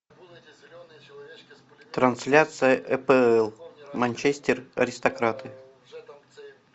трансляция апл манчестер аристократы